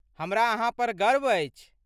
हमरा अहाँ पर गर्व अछि।